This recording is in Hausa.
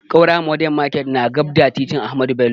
Ƙaura modern market na daf da titin ahamadu bello